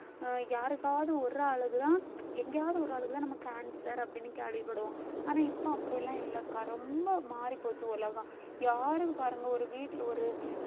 அஹ் யாருக்காவது ஒரு அழகுதான் எங்கேயாவது ஒரு ஆளுக்குதான் நமக்கு cancer அப்படின்னு கேள்விப்படுவோம் ஆனா இப்ப அப்படியெல்லாம் இல்லை ரொம்ப மாறிப்போச்சு உலகம் யாரும் பாருங்க ஒரு வீட்ல ஒரு